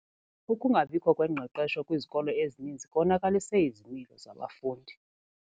Ukungabikho kwengqeqesho kwizikolo ezininzi konakalise izimilo zabafundi.